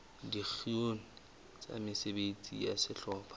dikgeong tsa mesebetsi ya sehlopha